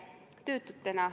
Töötutena.